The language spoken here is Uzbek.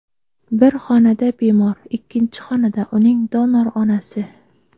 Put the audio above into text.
Bir xonada bemor, ikkinchi xonada uning donor onasi.